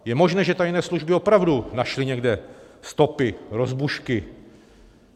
Je možné, že tajné služby opravdu našly někde stopy rozbušky.